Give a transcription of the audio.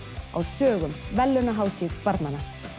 á sögum verðlaunahátíð barnanna